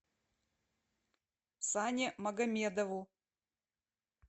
сане магомедову